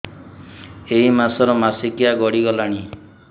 ଏଇ ମାସ ର ମାସିକିଆ ଗଡି ଗଲାଣି